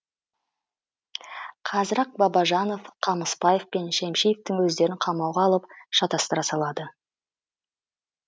қазір ақ бабажанов қамысбаев пен шемишевтің өздерін қамауға алып шатастыра салады